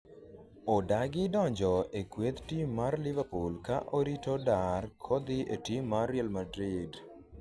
odagi donjo e kueth tim mar liverpool ka orito dar kodhi e tim mar Real madrid